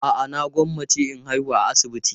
A'a, na gwammace in haihu a asibiti.